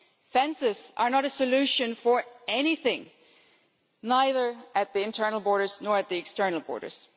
Fences are not a solution for anything, neither at the internal borders nor at the external borders.